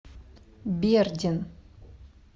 бердин